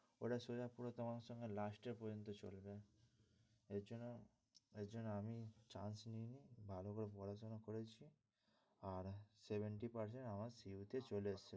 ওটা সোজা পুরো তোমার সঙ্গে last year পর্যন্ত চলবে এই জন্য এই জন্য আমি chance নিইনি ভালো করে পড়াশোনা করেছি আর seventy percent আমার CU চলে এসেছে।